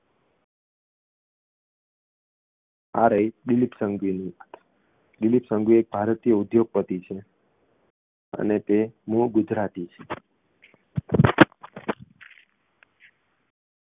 આ રહી દીલીપ સંઘવીની દીલીપ સંઘવી ભારતીય ઉદ્યોગપતિ છે અને તે મૂળ ગુજરાતી છ